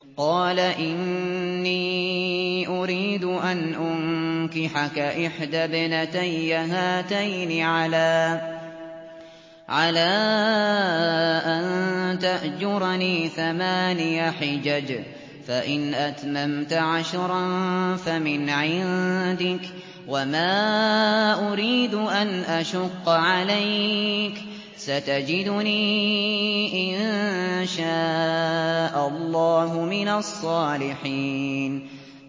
قَالَ إِنِّي أُرِيدُ أَنْ أُنكِحَكَ إِحْدَى ابْنَتَيَّ هَاتَيْنِ عَلَىٰ أَن تَأْجُرَنِي ثَمَانِيَ حِجَجٍ ۖ فَإِنْ أَتْمَمْتَ عَشْرًا فَمِنْ عِندِكَ ۖ وَمَا أُرِيدُ أَنْ أَشُقَّ عَلَيْكَ ۚ سَتَجِدُنِي إِن شَاءَ اللَّهُ مِنَ الصَّالِحِينَ